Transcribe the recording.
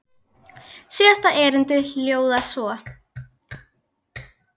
Síðasta erindið hljóðar svo